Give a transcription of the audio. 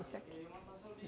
Isso aqui.